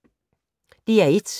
DR1